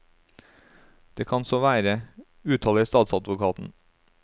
Det kan så være, uttaler statsadvokaten.